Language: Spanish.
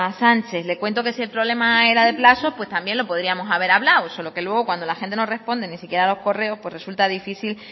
sánchez le cuento que si el problema era de plazos también lo podríamos haber hablado solo que luego cuando la gente no responde ni siquiera los correos pues resulta difícil